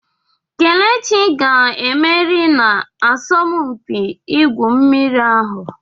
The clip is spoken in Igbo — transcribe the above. Kelechi ga-emeri na asọmpi igwu mmiri ahụ.